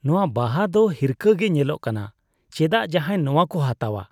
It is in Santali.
ᱱᱚᱣᱟ ᱵᱟᱦᱟ ᱫᱚ ᱦᱤᱨᱠᱷᱟᱹ ᱜᱮ ᱧᱮᱞᱚᱜ ᱠᱟᱱᱟ ᱾ ᱪᱮᱫᱟᱜ ᱡᱟᱦᱟᱭ ᱱᱚᱣᱟ ᱠᱚ ᱦᱟᱛᱟᱣᱼᱟ ?